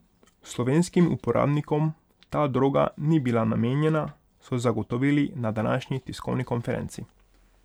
Slovenskim uporabnikom ta droga ni bila namenjena, so zagotovili na današnji tiskovni konferenci.